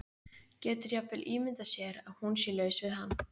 Getur jafnvel ímyndað sér að hún sé laus við hann.